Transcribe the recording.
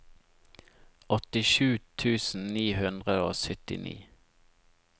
åttisju tusen ni hundre og syttini